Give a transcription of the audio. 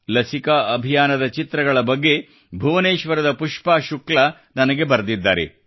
ಲಸಿಕಾ ಅಭಿಯಾನದ ಚಿತ್ರಗಳ ಬಗ್ಗೆ ಭುವನೇಶ್ವರದ ಪುಷ್ಪಾ ಶುಕ್ಲಾ ಅವರು ನನಗೆ ಬರೆದಿದ್ದಾರೆ